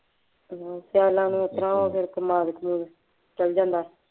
ਸਿਆਲਾਂ ਨੂੰ ਇਸ ਤਰ੍ਹਾਂ ਜੋ ਕੇ ਕਮਾਦ ਕਮੂਦ ਚ ਚੱਲ ਜਾਂਦਾ